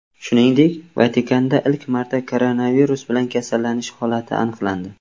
Shuningdek, Vatikanda ilk marta koronavirus bilan kasallanish holati aniqlandi .